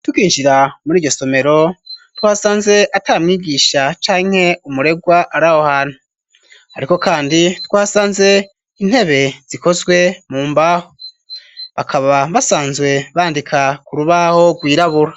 Tukinjira muri iyo somero twasanze atamwigisha canke umuregwa arahohantu, ariko kandi twasanze intebe zikozwe mu mbaho, bakaba basanzwe bandika ku rubaho rwirabura.